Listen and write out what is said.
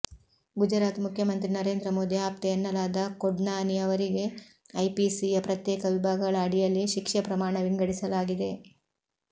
ಗುಜರಾತ್ ಮುಖ್ಯಮಂತ್ರಿ ನರೇಂದ್ರ ಮೋದಿ ಆಪ್ತೆ ಎನ್ನಲಾದ ಕೊಡ್ನಾನಿ ಅವರಿಗೆ ಐಪಿಸಿಯ ಪ್ರತ್ಯೇಕ ವಿಭಾಗಗಳ ಅಡಿಯಲ್ಲಿ ಶಿಕ್ಷೆ ಪ್ರಮಾಣ ವಿಂಗಡಿಸಲಾಗಿದೆ